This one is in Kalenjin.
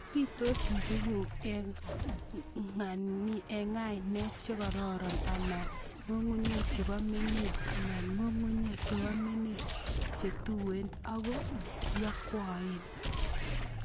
pitos njuguk eng'nganiek chekororon anan ng'ung'unyek chepo menet anan ngunguyek chepo menek chetuen ako yakwaen